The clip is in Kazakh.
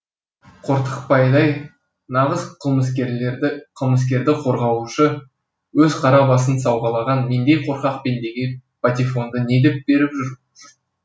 қортықбайдай нағыз қылмыскерді қорғаушы өз қара басын сауғалаған мендей қорқақ пендеге патефонды не деп беріп жүр